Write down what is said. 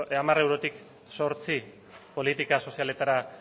hamar eurotik zortzi politika sozialetara